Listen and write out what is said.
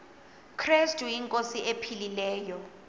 krestu inkosi ephilileyo